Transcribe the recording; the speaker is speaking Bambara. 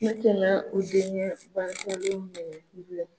Ne tɛna u denkɛ minɛ k'u bila.